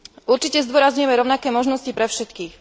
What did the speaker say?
Určite zdôrazňujem rovnaké možnosti pre všetkých.